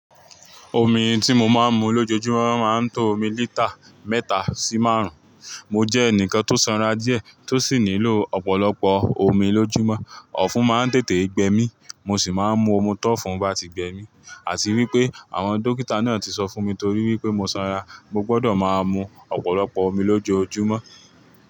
Omi ti mo máa n mu lójoojúmọ́ máa n to omi lítà mẹ́ta si márùn un. Mo jẹ́ ẹnìkan tó sanra díẹ̀ tó sì nílò ọ̀pọ̀lọpọ̀ omi lójúmọ́. Ọ̀fún máa ń tètè gbẹ mí, mo sì máa ń mu ọmọ tó ọ̀fún bá ti gbẹ mí. Àti wípé àwọn dókítà náà ti sọ fún mi torí wípé mo sanra, mo gbọdọ̀ máa mu ọ̀pọ̀lọpọ̀ omi lójoojúmọ́.